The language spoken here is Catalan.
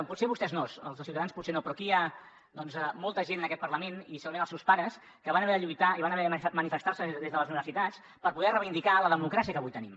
potser vostès no els de ciutadans potser no però aquí hi ha doncs molta gent en aquest parlament i segurament els seus pares que van haver de lluitar i van haver de manifestar se des de les universitats per poder reivindicar la democràcia que avui tenim